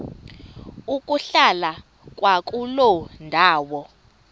ukuhlala kwakuloo ndawo